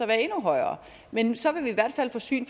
være endnu højere men så vil vi i hvert fald få syn